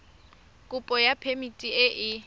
kopo ya phemiti e e